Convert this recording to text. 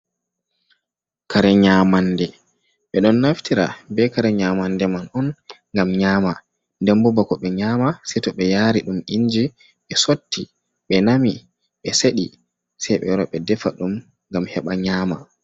Kare nyaamande, ɓe ɗon naftira bee kare nyaamande man on, ngam nyaama nden boo bako ɓe nyaama sey to ɓe yaari ɗum Inji ɓe sotti, ɓe nami, ɓe seɗi, sey ɓe wara ɓe defa ɗum ngam heɓa nyama.